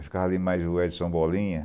Eu ficava ali mais o Edson Bolinha.